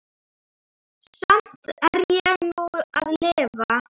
Samt er ég nú að lifa.